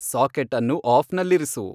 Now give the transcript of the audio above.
ಸಾಕೆಟ್ಅನ್ನು ಆಫ್ನಲ್ಲಿರಿಸು